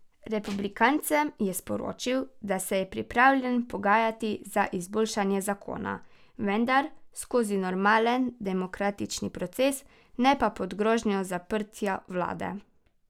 Republikancem je sporočil, da se je pripravljen pogajati za izboljšanje zakona, vendar skozi normalen demokratični proces, ne pa pod grožnjo zaprtja vlade.